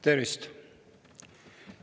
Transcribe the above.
Tervist!